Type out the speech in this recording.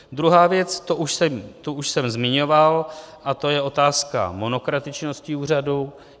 Druhá věc, tu už jsem zmiňoval, a to je otázka monokratičnosti úřadu.